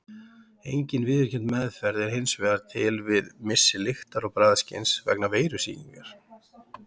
Engin viðurkennd meðferð er hins vegar til við missi lyktar- og bragðskyns vegna veirusýkingar.